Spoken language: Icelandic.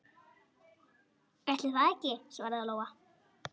Ætli það ekki, svaraði Lóa.